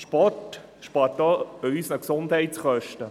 Sport spart längerfristig auch Gesundheitskosten.